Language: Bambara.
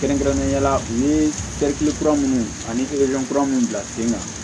Kɛrɛnkɛrɛnnenya la u ye kura minnu ani kura minnu bila sen kan